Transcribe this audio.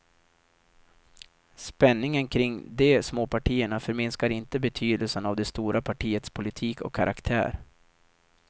Spänningen kring de småpartierna förminskar inte betydelsen av det stora partiets politik och karaktär.